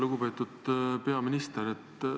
Lugupeetud peaminister!